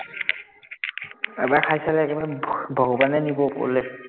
এবাৰ চালে, একেবাৰে ভগৱানে নিব ওপৰলে